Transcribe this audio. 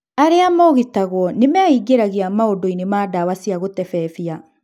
aria mogitagwo nĩmeingĩragia maũndũinĩ ma dawa cia gũtebebia.